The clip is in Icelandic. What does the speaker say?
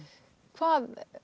hvað